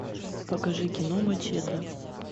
покажи кино мачете